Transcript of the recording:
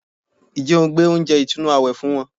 Ǹjẹ́ o gbé oúnjẹ ìtùnú àwẹ̀ fún wọn